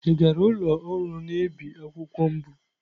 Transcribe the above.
Ị gara ụlọ ọrụ na-ebi akwụkwọ mbụ?